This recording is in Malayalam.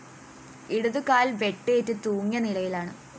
ഇടതു കാല്‍ വെട്ടേറ്റ് തൂങ്ങിയ നിലയിലാണ്